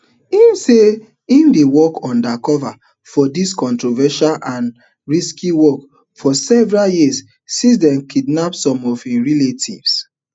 im say im dey work undercover for dis controversial and risky work for several years since dem kidnap some of im relatives